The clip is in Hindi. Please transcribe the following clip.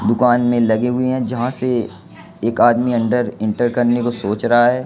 दुकान में लगी हुई है जहां से एक आदमी अंदर इंटर करने को सोच रहा है।